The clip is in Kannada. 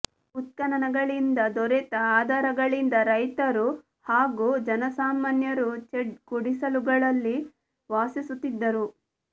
ಉತ್ಖನನಗಳಿಂದ ದೊರೆತ ಆಧಾರಗಳಿಂದ ರೈತರು ಹಾಗು ಜನಸಾಮಾನ್ಯರು ಚೆಡ್ ಗುಡಿಸಲುಗಳಲ್ಲಿ ವಾಸಿಸುತ್ತಿದ್ದರು